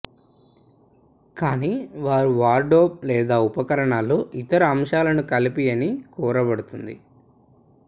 కానీ వారు వార్డ్రోబ్ లేదా ఉపకరణాలు ఇతర అంశాలను కలిపి అని కోరబడుతుంది